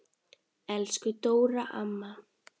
Elsku Dóra amma.